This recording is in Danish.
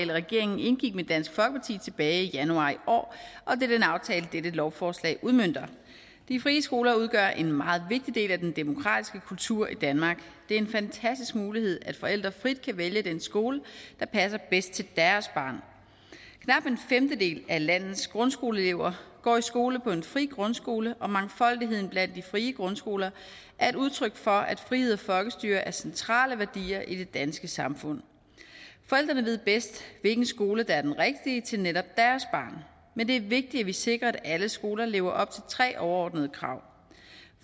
regeringen indgik med dansk folkeparti tilbage i januar i år og det er den aftale dette lovforslag udmønter de frie skoler udgør en meget vigtig del af den demokratiske kultur i danmark det er en fantastisk mulighed at forældre frit kan vælge den skole der passer bedst til deres barn knap en femtedel af landets grundskoleelever går i skole på en fri grundskole og mangfoldigheden blandt de frie grundskoler er et udtryk for at frihed og folkestyre er centrale værdier i det danske samfund forældrene ved bedst hvilken skole der er den rigtige til netop deres barn men det er vigtigt at vi sikrer at alle skoler lever op til tre overordnede krav